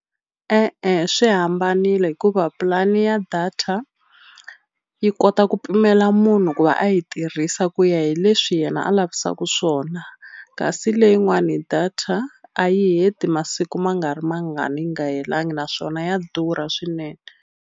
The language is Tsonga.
E-e swi hambanile hikuva pulani ya data yi kota ku pimela munhu ku va a yi tirhisa ku ya hi leswi yena a lavisaku swona kasi leyin'wani data a yi heti masiku ma nga ri mangani yi nga helangi naswona ya durha swinene.